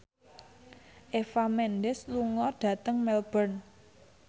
Eva Mendes lunga dhateng Melbourne